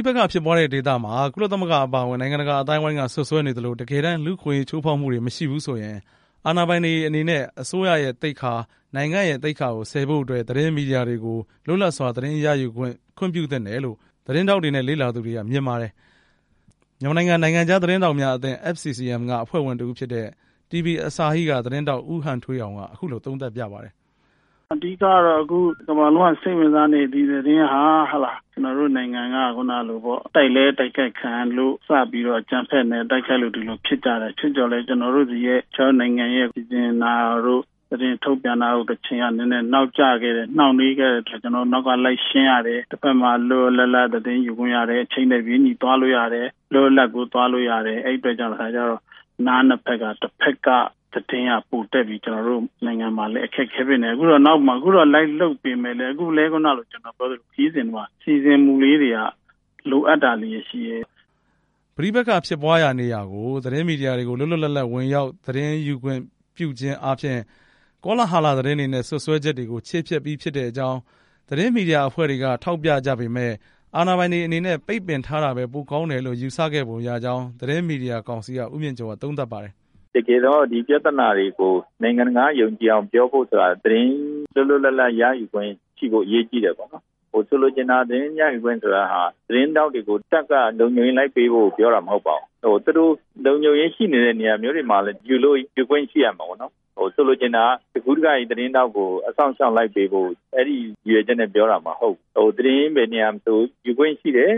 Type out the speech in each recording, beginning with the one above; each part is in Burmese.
ိပက္ခဖြစ်ပွားတဲ့ဒေသမှာ ကုလသမဂ္ဂအပါအဝင် နိုင်ငံတကာအသိုင်းဝိုင်းက စွပ်စွဲနေသလို တကယ်တမ်း လူ့အခွင့်အရေး ချိုးဖောက်မှုတွေမရှိဘူးဆိုရင် အာဏာပိုင်တွေအနေနဲ့ အစိုးရ သိက္ခာ၊ နိုင်ငံ့သိက္ခာဆည်ဖို့ အတွက် သတင်းမီဒီယာတွေကို လွတ်လပ်စွာ သတင်းရယူခွင့် ပြုသင့်တယ်လို့ သတင်းထောက်တွေနဲ့ လေ့လာသူတွေက မြင်ပါတယ်။ မြန်မာနိုင်ငံ နိုင်ငံခြားသတင်းထောက်များအသင်း FCCM က အဖွဲ့ဝင်တဦးဖြစ်တဲ့ TV Asahi က သတင်းထောက် ဦးဟန်ထွေးအောင် က အခုလို သုံးသပ်ပြပါတယ်။ "အဓိကကတော့ တကမ္ဘာလုံးက စိတ်ဝင်စားနေတဲ့ ဒီသတင်းဟာ ကျနော်တို့ နိုင်ငံက တိုက်လည်း တိုက်ခိုက်ခံရလို့ စပြီးတော့ အကြမ်းဖက်လို့ ဒီလိုဖြစ်တာ၊ တချို့ကျတော့လည်း ကျနော်တို့နိုင်ငံရဲ့ သတင်းထုတ်ပြန်တာတို့ တချိန်က နောက်ကျခဲ့တယ်၊ နှောင့်နှေးခဲ့တဲ့အခါ ကျနောတို့ နောက်ကလိုက်ရှင်းရတယ်၊ တဖက်မှာ လွတ်လွတ်လပ်လပ် သတင်းယူခွင့်ရတယ်၊ အချိန်နဲ့ တပြေးညီ သွားလို့ရတယ် အဲဒီအတွက်ကြောင့်မို့ နားနှစ်ဖက်မှာ တဖက်က သတင်းကပိုတက်ပြီး ကျနော်တို့ နိုင်ငံမှာလည်း အခက်အခဲတွေ ဖြစ်နေတယ်၊ အခုတော့ နောက်ကနေ လိုက်လုပ်ပေမယ့်လည်း ခရီးမှာ စီစဉ်မှုလေးတွေက လိုအပ်တာတွေရှိနေတယ်" ပဋိပက္ခဖြစ်ပွားရာနေရာကို သတင်းမီဒီယာတွေ လွတ်လပ်စွာဝင်ရောက် သတင်းယူခွင့်ပြုခြင်း အားဖြင့် ကောလာဟလ သတင်းတွေနဲ့ စွပ်စွဲချက်တွေကို ခြေဖျက်ပြီးဖြစ်ကြောင်း သတင်းမီဒီယာ အဖွဲ့တွေက ထောက်ပြကြပေမယ့် အာဏာပိုင်တွေအနေနဲ့ ပိတ်ပင်ထားတာပဲ ပိုပြီး ကောင်းတယ်လို့ ယူဆခဲ့ပုံရကြောင်း သတင်းမီဒီယာကောင်စီက ဦးမြင့်ကျော်က သုံးသပ်ပါတယ်။ "တကယ်တော့ ဒီပြဿနာတွေကို နိုင်ငံတကာက ယုံကြည်အောင် ပြောဖို့ဆိုတာ သတင်းလွတ်လွတ် လပ်လပ် ရယူခွင့်ရှိဖို့ အရေးကြီးတယ်ပေါ့နော်၊ ဆိုလိုချင်တာက သတင်းရယူခွင့်ဆိုတာဟာ သတင်းထောက်တွေကို တပ်ကလုံခြုံရေးလိုက်ဖို့ ပြောတာမဟုတ်ပါဘူး၊ သူတို့ လုံခြုံရေးရှိနေတဲ့ နေရာမျိုးတွေမှာ ယူခွင့်ရှိရမှာပေါ့နော်၊ ဆိုလိုချင်တာက တကူးတက သတင်းထောက်ကို သီးသန့် အစောင့်အရှောက် လိုက်ပေးဖို့မလိုဘူးဆိုတဲ့ ရည်ရွယ်ချက်နဲ့ပြောတာပါ၊ သတင်းဘယ်နေရာမှာ မဆိုယူခွင့်ရှိတယ်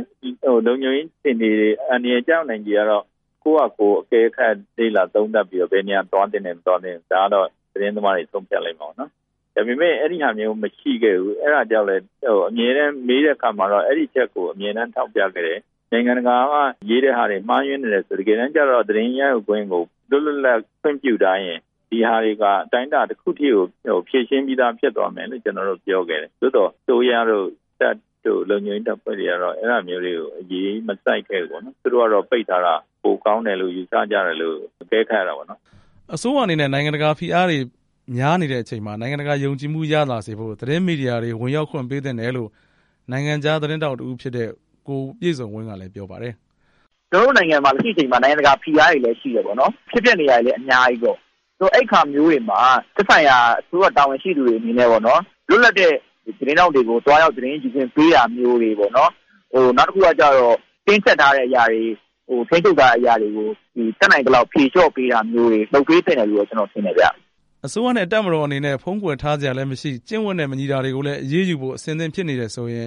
၊ လုံခြုံရေးအခြေအနေ အန္တရာယ် ကျရောက်နိုင်ခြေကတော့ ကိုယ့်ဟာကိုယ် အကဲခတ်လေ့လာသုံးသပ်ပြီးတော့ ဘယ်နေရာသွားသင့်တယ်၊ မသွားသင့်ဘူး ဒါကတော့ သတင်းသမားတွေ ဆုံးဖြတ်လိမ့်မှာပေါ့၊ ဒါပေမဲ့ အဲဒီဟာမျိုးမရှိခဲ့ဘူး၊ အဲဒါကြောင့်လည်း အမြဲတမ်း မေးတဲ့အခါမျိုးမှာ အဲဒီအချက်ကို အဓိကထောက်ပြခဲ့တယ်၊ နိုင်ငံတကာက ရေးတဲ့ဟာတွေ မှားယွင်းနေတယ်ဆိုတာ၊ တကယ်တမ်းတော့ သတင်းရယူခွင့်ကို လွတ်လွတ်လပ်လပ် ခွင့်ပြုထားရင် ဒီဟာတွေဟာ အတိုင်းအတာတစ်ခုထိကို ဖြေရှင်းပြီးသား ဖြစ်သွားမယ်လို့ ကျနော်တို့ ပြောခဲ့တယ်၊ သို့သော် အစိုးရတို့၊ တပ်တို့၊ လုံခြုံရေးတပ်ဖွဲ့တွေက အဲဟာမျိုးတွေကို အရေးမစိုက်ခံဘူးပေါ့နော်၊ သူတို့ကတော့ ပိတ်ထားတာ ပိုကောင်းတယ်လို့ ယူဆကြတယ်လို့ အကဲခတ်ရတာပေါ့နော်" အစိုးရအနေနဲ့ နိုင်ငံတကာဖိအားပေးမှုတွေများနေချိန်မှာ နိုင်ငံတကာယုံကြည်မှုရလာစေဖို့ သတင်းမီဒီယာ ဝင်ရောက်ခွင့်ပေးသင့်တယ်လို့ နိုင်ငံခြားသတင်းထောက်တဦးဖြစ်တဲ့ ကိုပြည့်စုံဝင်း ကလည်း ပြောပါတယ်။ "ကျနော်တို့နိုင်ငံမှာ လက်ရှိအချိန်မှာ နိုင်ငံတကာဖိအားတွေလည်း ရှိတယ်ပေါ့နော်၊ ဖြစ်ပျက်နေတာတွေလည်း အများကြီးပေါ့၊ အဲအခါမျိုးတွေမှာ သက်ဆိုင်ရာ အစိုးရတာဝန်ရှိသူတွေအနေနဲ့ ပေါ့နော်၊ သတင်းထောက်တွေကို သွားရောက် သတင်းယူခွင့်ပေးတာမျိုးတွေပေါ့၊ နောက်တစ်ခုကကျတော့ တင်းကြပ်ထားတဲ့အရာတွေ ထိန်းချုပ်ထားတဲ့အရာတွေကို တတ်နိုင်သလောက် ဖြေလျော့ပေးတာမျိုးတွေ လုပ်သင့်တယ်လို့ ကျနော်မြင်တယ်ဗျ" အစိုးရနဲ့တပ်မတော်အနေနဲ့ ဖုံးကွယ်ထားစရာလည်းမရှိ၊ ကျင့်ဝတ်နဲ့မညီတာတွေကိုလည်း အရေးယူဖို့ အဆင်သင့်ဖြစ်နေတယ်ဆိုရင်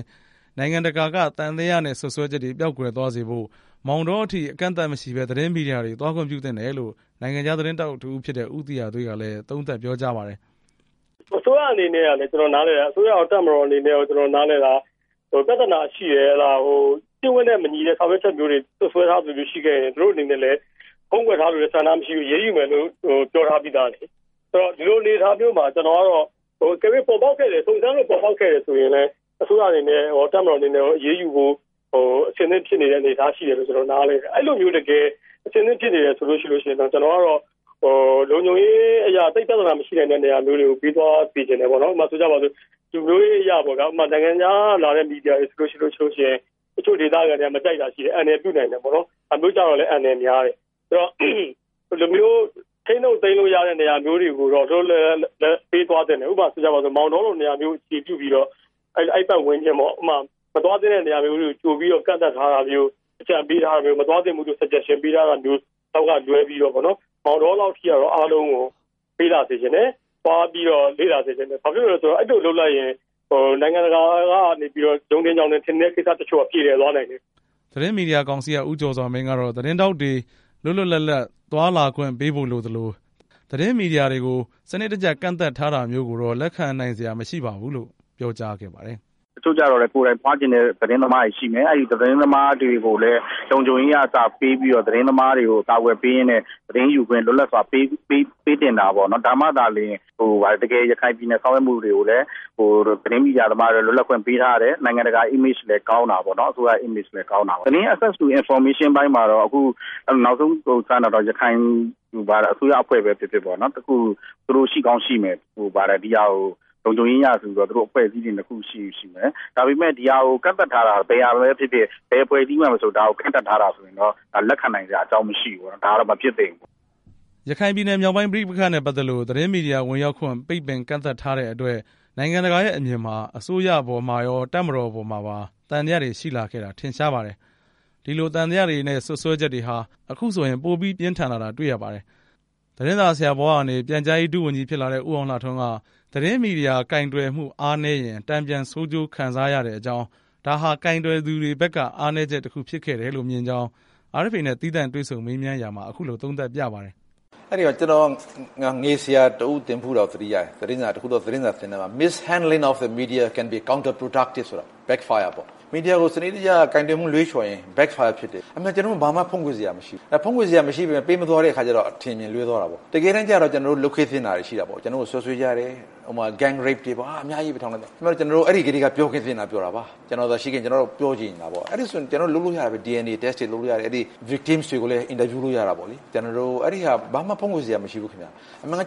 နိုင်ငံတကာက သံသယနဲ့စွပ်စွဲချက်တွေ ပျောက်ကွယ်သွားစေဖို့ မောင်းတော အထိ အကန့်သတ်မရှိဘဲ သတင်းမီဒီယာတွေကို သွားခွင့်ပြုသင့်တယ်လို့ နိုင်ငံခြားသတင်းထောက်တဦးဖြစ်တဲ့ ဦးသီဟသွေး က ပြောပါတယ်။ "အစိုးရရော တပ်မတော်အနေနဲ့ရော ကျနော်နားလည်တာက ပြဿနာရှိတယ်၊ ကျင့်ဝတ်နဲ့မညီတဲ့ ဆောင်ရွက်ချက်မျိုးတွေ စွပ်စွဲထားတာမျိုးတွေရှိခဲ့ရင် သူတို့အနေနဲ့ ဖုံးကွယ်ထားလိုတဲ့ဆန္ဒမရှိဘူး၊ အရေးယူမယ်လို့ ပြောထားပြီးသားလေ၊ ဒီလိုအနေအထားမျိုးမှာ ကျနော်ကတော့ စုံစမ်းလို့ ပေါ်ပေါက်ခဲ့တယ်ဆိုရင်လည်း အစိုးရအနေနဲ့ရော တပ်မတော်အနေနဲ့ရော အရေးယူဖို့ အဆင်သင့်ဖြစ်နေတဲ့ အနေအထားရှိတယ်လို့ ကျနော်နားလည်တယ်၊ အဲလိုမျိုး တကယ် အဆင်သင့်ဖြစ်နေတယ်ဆိုရင်တော့ ကျနော်ကတော့ လုံခြုံရေးအရ သိပ်ပြဿနာမရှိနိုင်တဲ့ နေရာမျိုးတွေကို ပေးသွားစေချင်တယ်၊ ဥပမာဆိုရင်တော့ လူမျိုးရေးအရ နိုင်ငံခြားကလာတဲ့ မီဒီယာတွေဆိုရင် တချို့ဒေသခံတွေက မကြိုက်တာရှိတယ်၊ အန္တရာယ်ပြုနိုင်တယ်ပေါ့နော်၊ ဒါမျိုးကျတော့ အန္တရာယ်များတယ်ဆိုတော့ ထိန်းလို့ သိမ်းလို့ရတဲ့ နေရာမျိုးတွေကိုတော့ လွတ်လွတ်လပ်လပ်ပေးသွားသင့်တယ်၊ ဥပမာ မောင်တောလို နေရာမျိုး အခြေပြုပြီးတော့ အဲပတ်ဝန်းကျင်ပေါ့၊ မသွားသင့်တဲ့နေရာမျိုးတွေ ကြိုပြီးတော့ ကန့်သတ်ထားတာမျိုး၊ မသွားသင့်ဘူးလို့ အကြံပေးထားတာမျိုးလောက်ကလွဲပြီးတော့ ပေါ့နော် မောင်တောလောက်ထိတော့ အားလုံးကို ပေးလာစေချင်တယ်၊ သွားပြီးတော့ လေ့လာစေချင်တယ်၊ ဘာဖြစ်လို့လည်း ဆိုရင် နိုင်ငံတကာကနေ ယုံထင်၊ ကြောင်ထင်၊ ထင်နေတဲ့ကိစ္စတွေက ပြေလည်သွားနိုင်တယ်" သတင်းမီဒီယာကောင်စီက ဦးကျော်စွာမင်းကတော့ သတင်းထောက်တွေ လွတ်လွတ်လပ်လပ် သွားလာခွင့် ပေးဖို့လိုသလို သတင်းမီဒီယာတွေကို စနစ်တကျကန့်သတ်ထားတာမျိုးကိုတော့ လက်ခံစရာမရှိပါဘူးလို့ ပြောပါတယ်။ "တချို့ကျတော့လည်း ကိုယ်တိုင်သွားချင်တဲ့ သတင်းသမားတွေရှိမယ်၊ အဲသတင်းသမားတွေကိုလည်း လုံခြုံရေးက အစပေးပြီးတော့ သတင်းသမားတွေကို အကာအကွယ်ပေးရင်းနဲ့ သတင်းယူခွင့် လွတ်လပ်စွာပေးသင့်တာပေါ့နော်၊ ဒါမှသာ တကယ်ရခိုင်ပြည်နယ် ဆောင်ရွက်မှုတွေကိုလည်း သတင်းမီဒီယာသမားတွေကိုလည်း လွတ်လပ်ခွင့်ပေးထားတယ်၊ နိုင်ငံတကာ ပုံရိပ်လည်း ကောင်းတာပေါ့နော်၊ အစိုးရ ပုံရိပ်လည်းကောင်းတာပေါ့၊ သတင်းရယူခွင့်အပိုင်းမှာတော့ နောက်ဆုံးကြားတာတော့ ရခိုင်အစိုးရပဲ ဖြစ်ဖြစ်ပေါ့နော် သူတို့ရှိကောင်းရှိမယ်၊ လုံခြုံရေးအရဆိုပြီးတော့ အဖွဲ့အစည်းတွေရှိရင်ရှိမယ်၊ ဒါပေမဲ့ ဘယ်အဖွဲ့အစည်းမှာမဆို ဒီဟာကို ကန့်သတ်ထားတာဆိုရင်တော့ လက်ခံနိုင်စရာ အကြောင်းမရှိဘူးပေါ့နော် ဒါကတော့ မဖြစ်သင့်ဘူးပေါ့" အစိုးရမှာ တိကျတဲ့မူဝါဒမရှိ ရခိုင်ပြည်နယ်မြောက်ပိုင်း ပဋိပက္ခနဲ့ပတ်သက်လို့ သတင်းမီဒီယာ ဝင်ရောက်ခွင့် ပိတ်ပင်ကန့်သတ်ထားတဲ့ အတွက် နိုင်ငံတကာရဲ့အမြင်မှာ အစိုးရအပေါ်မှာရော တပ်မတော်အပေါ်မှာပါ သံသယတွေရှိလာခဲ့တာ ထင်ရှားပါတယ်။ ဒီလို သံသယတွေနဲ့ စွပ်စွဲချက်တွေဟာ အခုဆိုရင် ပိုပြီး ပြင်းထန်လာခဲ့တာတွေ့ရပါတယ်။ သတင်းစာဆရာဘဝကနေ ပြန်ကြားရေးဒုဝန်ကြီးဖြစ်လာတဲ့ ဦးအောင်လှထွန်းက သတင်းမီဒီယာကိုင်တွယ်မှု အားနည်းရင် တန်ပြန်ဆိုးကျိုးခံစားရကြောင်း၊ ဒါဟာ ကိုင်တွယ်သူတွေဘက်က အားနည်းချက်တခုဖြစ်ခဲ့တယ်လို့ မြင်ကြောင်း RFA နဲ့ သီးသန့်တွေ့ဆုံမေးမြန်းခန်းမှာ အခုလို သုံးသပ်ပြပါတယ်။ "ကျနော် ငယ်ဆရာတစ်ဦး သင်ဖူးတာကို သတိရတယ်၊ Mishandling of the media can be counter-productive.မီဒီယာကို ကိုင်တွယ်မှုလွဲချော်ရင် Back Fire ဖြစ်တယ်၊ ဘာမှဖုံးကွယ်စရာမရှိဘူး၊ ဖုံးကွယ်စရာမရှိပေမဲ့ ပေးမသွားတဲ့အခါကျတော့ အထင်အမြင် လွဲသွားတာပေါ့၊ တကယ်တမ်းကြတော့ ကျနော်တို့ လုပ်ခဲ့သင့်တာတွေရှိတာပေါ့၊ ကျနော်တို့ကို စွပ်စွဲကြတယ်၊ ကျနော်တို့ အဲထဲက ပြောခဲ့သင့်တာပြောတာပါ၊ ကျနော်သာရှိခဲ့ရင် ကျနော်က ပြောချင်နေတာပေါ့၊ အဲဒါဆိုရင် ကျနော်တို့လုပ်လို့ရတာပဲ၊ DNA စစ်ဆေးတာတွေလုပ်လို့ရတယ်၊ ဒုက္ခသည်တွေကိုလည်း အင်တာဗျူးလို့ရတာပေါ့လေ၊ အဲ့ဒီဟာကို ကျနော်တို့ ဘာမှ ဖုံးကွယ်စရာမရှိဘူး၊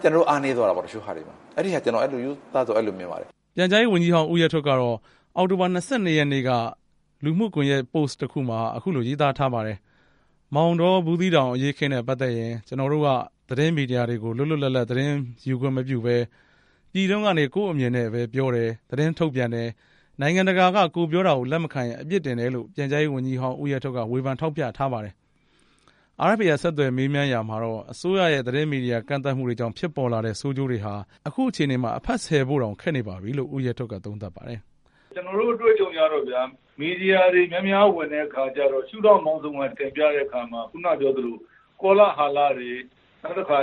ကျနော်တို့အားနည်းသွားတာပေါ့၊ ကျနော်ကတော့ ရိုးသားစွာ အဲ့လိုမြင်ပါတယ်" ပြန်ကြားရေးဝန်ကြီးဟောင်း ဦးရဲထွဋ်က အောက်တိုဘာ ၂၂ ရက်နေ့က လူမှုကွန်ယက်ပို့စ်တခုမှာ အခုလို ရေးသားထားပါတယ်။ “မောင်တော-ဘူးသီးတောင် အရေးအခင်းနဲ့ ပတ်သက်ရင် ကျနော်တို့က သတင်း မီဒီယာ တွေကို လွတ်လပ်စွာ သတင်းယူခွင့်မပြုဘဲ ပြည်တွင်းကနေ ကိုယ့် အမြင်နဲ့ပြောတယ်၊ သတင်းထုတ်ပြန်တယ်၊ နိုင်ငံတကာက ကိုယ်ပြောတာကို လက်မခံရင် အပြစ် တင်တယ်”လို့ ပြန်ကြားရေးဝန်ကြီးဟောင်း ဦးရဲထွဋ်က ဝေဖန် ထောက်ပြထားပါတယ်။ RFA က ဆက်သွယ်မေးမြန်းရာမှာတော့ အစိုးရရဲ့ သတင်းမီဒီယာ ကန့်သတ်မှုကြောင့် ဖြစ်ပေါ်လာတဲ့ ဆိုးကျိုးတွေဟာ အခုအခြေအနေမှာ အဖတ်ဆယ်လို့တောင် ခက်နေပါပြီလို့ ဦးရဲထွဋ်က သုံးသပ်ပါတယ်။ "ကျနော်တို့ အတွေ့အကြုံအရပေ့ါဗျာ၊ မီဒီယာတွေ များများဝင်တဲ့အခါကျတော့ ရှုထောင့်ပေါင်းစုံက တင်ပြတဲ့အခါမှာ ကောလာဟလတွေ၊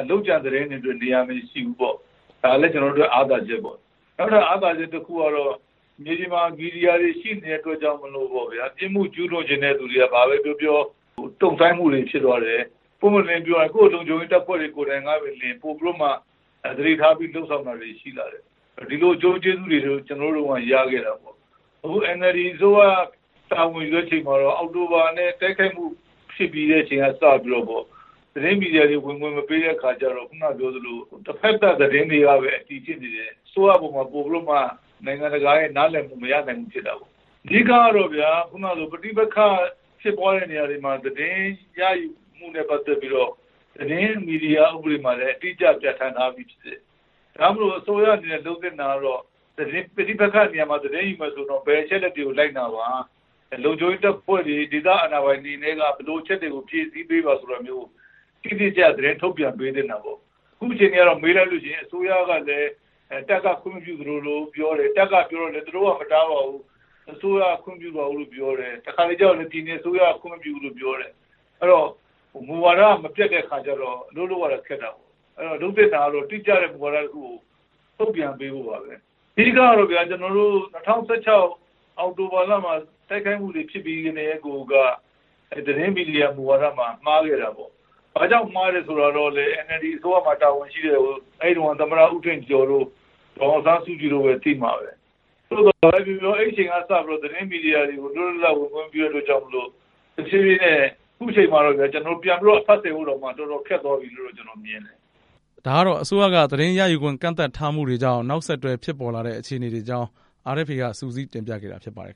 လုပ်ကြံသတင်းတွေအတွက် နေရာမရှိဘူးပေါ့၊ ဒါလည်း ကျနော်တို့အတွက် အားသာချက်ပေါ့၊ နောက်ထပ်အားသာချက်တစ်ခုကတော့ မြေပြင်မှာ မီဒီယာတွေ ရှိနေတဲ့အတွက်ကြောင့်မို့ ပြစ်မှုကျူးလွန်ချင်တဲ့သူတွေက ဘာပဲပြောပြော တုံ့ဆိုင်းမှုတွေဖြစ်သွားတယ်၊ ပွင့်ပွင့်လင်းလင်းပြောရရင် ကိုယ့်လုံခြုံရေးတပ်ဖွဲ့တွေကိုယ်တိုင်ကပင် ပိုပြီးတော့မှ သတိထားပြီးလုပ်ဆောင်တာတွေ ရှိလာတယ်၊ ဒီလိုအကျိုးကျေးဇူးတွေ ကျနော်တို့တုန်းက ရခဲ့တာပေါ့၊ အခု NLD အစိုးရတာဝန်ယူတဲ့ အချိန်မှာတော့ အောက်တိုဘာ တိုက်ခိုက်မှုဖြစ်ပြီးတဲ့ အချိန်က စပြီးတော့ သတင်းမီဒီယာတွေ ဝင်ခွင့်မပေးတဲ့အခါကျတော့ တဖက်သတ် သတင်းတွေကပဲ အတည်ဖြစ်နေတယ်၊ အစိုးရအပေါ်မှာ နိုင်ငံတကာရဲ့ နားလည်မှုမရဘူးဖြစ်တာပေါ့၊ အဓိကတော့ ပဋိပက္ခဖြစ်ပွားတဲ့ နေရာတွေမှာ သတင်းရယူမှုနဲ့ ပတ်သက်ပြီးတော့ သတင်းမီဒီယာ ဥပဒေမှာလည်း အတိအကျ ပြဋ္ဌာန်းထားပြီးဖြစ်တယ်၊ ဒါကြောင့်မို့ အစိုးရအနေနဲ့ လုပ်သင့်တာက ပဋိပက္ခ နေရာမှာ သတင်းယူမယ်ဆိုရင် ဘယ်အချက်တွေကို လိုက်နာပါ၊ လုံခြုံရေးတပ်ဖွဲ့တွေ ဒေသအာဏာပိုင်တွေက ဘယ်လို အချက်တွေကို ဖြည့်ဆည်းပေးပါဆိုတာမျိုး တိတိကျကျ သတင်းထုတ်ပြန်သင့်တာပေါ့၊ အခုအခြေအနေကတော့ မေးလိုက်လို့ရှိရင် အစိုးရကလည်း တပ်က ခွင့်မပြုတဲ့ပုံစံမျိုးပြောတယ်၊ တပ်ကပြောတော့လည်း သူတို့မတားပါဘူး၊ အစိုးရက ခွင့်မပြုပါဘူးပြောတယ်၊ တခါတလေကြတော့လည်း အစိုးရက ခွင့်မပြုဘူးပြောတယ်၊ အဲတော့ မူဝါဒက မပြတ်တဲ့အခါကြတော့ အလုပ်လုပ်ရတာခက်တာပေါ့၊ အဲတော့ လုပ်သင့်တာကတော့ တိကျတဲ့ မူဝါဒတစ်ခုကို ထုတ်ပြန်ပေးဖို့ပါပဲ၊ အဓိကတော့ ၂၀၁၆ အောက်တိုဘာလမှာ တိုက်ခိုက်မှုတွေဖြစ်ပြီးကတည်းကိုက သတင်းမီဒီယာမူဝါဒမှာ မှားခဲ့တာပေါ့၊ ဘာကြောင့်မှားလည်းဆိုတာတော့ NLD အစိုးရမှာ တာဝန်ရှိတဲ့ အဲတုံးက သမ္မတ ဦးထင်ကျော်တို့၊ ဒေါ်အောင်ဆန်းစုကြည်ပဲ သိမှာပဲ၊ ဘာပဲပြောပြော အဲအချိန်ကစပြီးတော့ သတင်းမီဒီယာတွေကို လွတ်လွတ်လပ်လပ် သတင်းယူခွင့်မပေးတဲ့အတွက်ကြောင့် အခုအချိန်မှာတော့ ပြန်ပြီးတော့ အဖတ်ဆယ်ဖို့ တော်တော်ခက်သွားပြီလို့ ကျနော်မြင်ပါတယ်" ဒါကတော့ အစိုးရက သတင်းရယူခွင့်ကန့်သတ်ထားမှုတွေကြောင့် နောက်ဆက်တွဲဖြစ်ပေါ်လာတဲ့ အခြေအနေတွေအကြောင်း RFA က စုစည်းတင်ပြခဲ့တာဖြစ်ပါတယ်